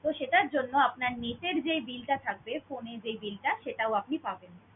সেটার জন্য আপনার নিজের যেই bill টা থাকবে phone এর যেই bill টা সেটাও আপনি পাবেন।